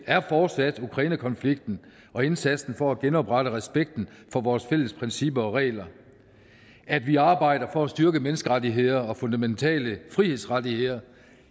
er fortsat ukrainekonflikten og indsatsen for at genoprette respekten for vores fælles principper og regler at vi arbejder for at styrke menneskerettigheder og fundamentale frihedsrettigheder